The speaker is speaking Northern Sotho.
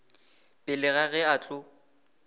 pele ga ge a tlo